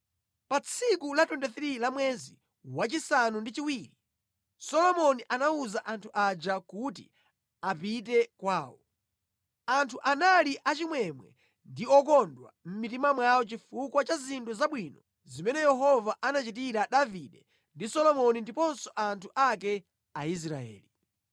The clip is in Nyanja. Pa tsiku la 23 la mwezi wachisanu ndi chiwiri, Solomoni anawuza anthu aja kuti apite kwawo. Anthu anali achimwemwe ndi okondwa mʼmitima mwawo chifukwa cha zinthu zabwino zimene Yehova anachitira Davide ndi Solomoni ndiponso anthu ake Aisraeli.